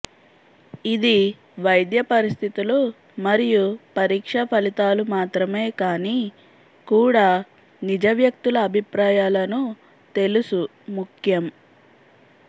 ఇది వైద్య పరిస్థితులు మరియు పరీక్ష ఫలితాలు మాత్రమే కానీ కూడా నిజ వ్యక్తుల అభిప్రాయాలను తెలుసు ముఖ్యం